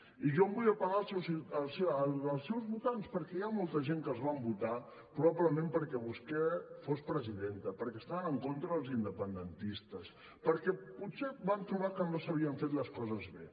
i jo vull apel·lar als seus votants perquè hi ha molta gent que els van votar probablement perquè vostè fos presidenta perquè estaven en contra dels independentistes perquè potser van trobar que no s’havien fet les coses bé